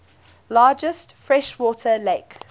largest freshwater lake